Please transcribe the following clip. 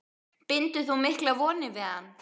Bindur þú miklar vonir við hann?